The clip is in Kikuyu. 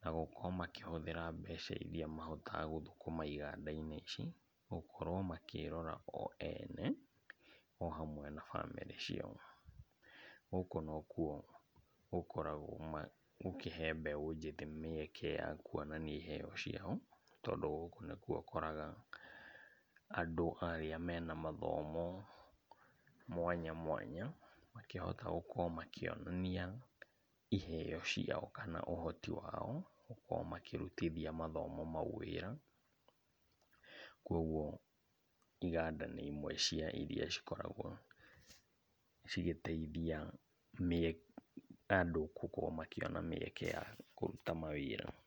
na gũkorwo makĩhũthĩra mbeca iria mahotaga gũthũkũma iganda-inĩ ici, gũkorwo makĩrora o ene. o hamwe na bamĩrĩ ciao. Gũkũ nokuo gũkoragwo gũkĩhe mbeũ njĩthĩ mĩeke ya kuonania iheo ciao, tondũ gũkũ nĩkuo ũkoraga andũ arĩa mena mathomo mwanya mwanya makĩhota gũkorwo makĩonania iheo ciao kana ũhoti wao, gũkorwo makĩrutithia mathomo mau wĩra. Kuoguo, iganda nĩ imwe cia iria cikoragwo cigĩteithia mĩeke andũ gũkorwo makĩona mĩeke ya kũruta mawĩra.